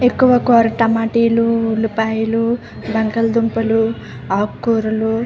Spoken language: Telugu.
టమాటా లు ఉల్లిపాయలు బంగాళదుంపలు ఆకుకూరలు --